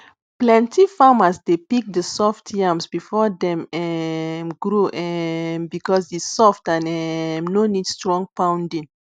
plenty farmers dey pick the soft yams before dem um grow um because e soft and um no need strong pounding